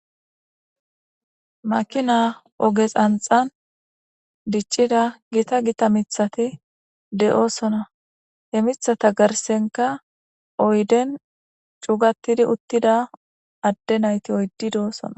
makina ogesanxan diccida gita gita mithati de7oosona he mithata garsenka oyden cugatidi uttida adde nayti oyddi de7oosona